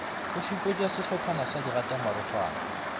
go šupetša sehlophana sa digatamarokgwana